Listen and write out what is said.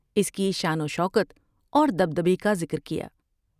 اس کی شان و شوکت اور دبدبے کا ذکر کیا ۔